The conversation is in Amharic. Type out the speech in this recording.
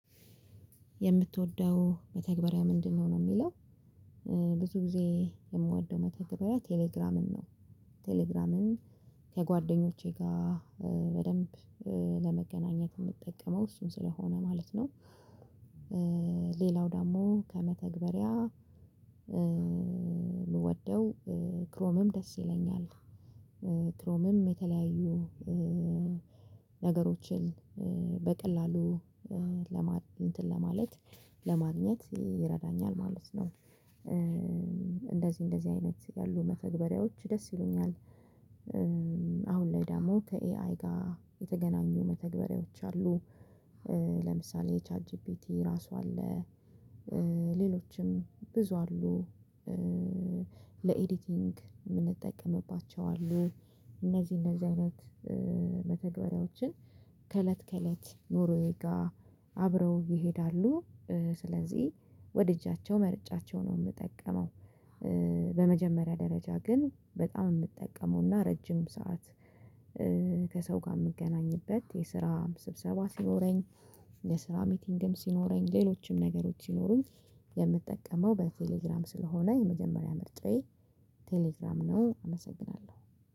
የምትወደው መተግበሪያ ምንድነው ነው የሚለው ብዙ ጊዜ የምወደው መተግበሪያ ቴሌግራምን ነው ቴሌግራምን ከጓደኞቼ ጋር በደንብ ለመገናኘት የምትጠቀመው እሱን ስለሆነ ማለት ነው ሌላው ደግሞ ከመተግበሪያ የምወደው ክሮምም ደስ ይለኛል ክሮምም የተለያዩ ነገሮችን በቀላሉ ለማ እንትን ለማግኘት ይረዳኛል ማለት ነው እንደዚህ እንደዚህ አይነት ያሉ መተግበሪያዎች ደስ ይሉኛል አሁን ላይ ደግሞ ከኤአይ ጋር የተገናኙ መተግበሪያዎች አሉ ለምሳሌ ቻት ጂፒቲ ራሱ አለ ሌሎችም ብዙ አሉ ለኤዲቲንግ የምንጠቀምባቸው አሉ እነዚህ እነዚህ አይነት መተግበሪያዎችን ከእለት ከእለት ኑሮዬ ጋር አብረው ይሄዳሉ ስለዚህ ወድጃቸው መርጫቸው ነው የምጠቀመው በመጀመሪያ ደረጃ ግን በጣም የምጠቀመውና ረጅም ሰዓት ከሰው ጋር የምገናኝበት የስራ ስብሰባ ሲኖረኝ የስራ ሚቲንግም ሲኖረኝ ሌሎችም ነገሮች ሲኖሩኝ የምትጠቀመው በቴሌግራም ስለሆነ የመጀመሪያ ምርጫዬ ቴሌግራም ነው አመሰግናለሁ።